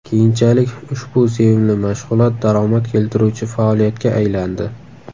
Keyinchalik ushbu sevimli mashg‘ulot daromad keltiruvchi faoliyatga aylandi”.